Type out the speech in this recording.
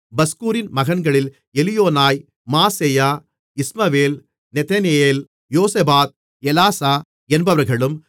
பஸ்கூரின் மகன்களில் Elioenai Maaseiah Ishmael Nethaneel Jozabad Elasah என்பவர்களும்